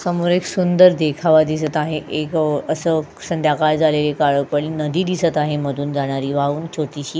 समोर एक सुंदर देखावा दिसत आहे एक अ अस संध्याकाळ झालेली काळपण नदी दिसत आहे मधून जाणारी व्हाहून छोटीशी --